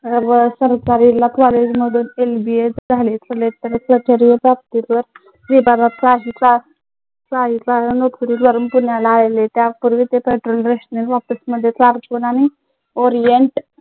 विभागात काही काळ नौकरी करून